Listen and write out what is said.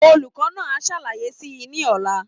Olùkọ́ náà á ṣàlàyé si ní ọ̀la.